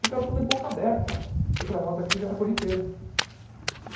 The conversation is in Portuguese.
Ficaram tudo de boca aberta, e para nós aquilo já era corriqueiro.